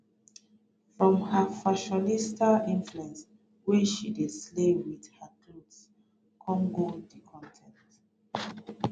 from her fashionista influence wey she dey slay wit her clothes come go di con ten t